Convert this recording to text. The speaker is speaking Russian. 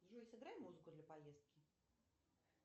джой сыграй музыку для поездки